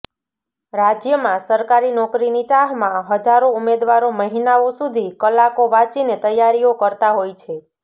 રાજ્યમાં સરકારી નોકરીની ચાહમાં હજારો ઉમેદવારો મહિનાઓ સુધી કલાકો વાંચીને તૈયારી કરતા હોય છે